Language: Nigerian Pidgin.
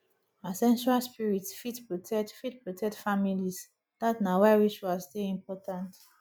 ancestral spirits fit protect fit protect families dat na why rituals dey important